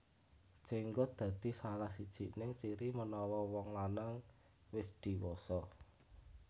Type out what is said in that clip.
Jenggot dadi salah sijining ciri menawa wong lanang wis diwasa